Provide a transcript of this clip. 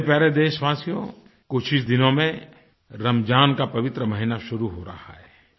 मेरे प्यारे देशवासियो कुछ ही दिनों में रमज़ान का पवित्र महीना शुरू हो रहा है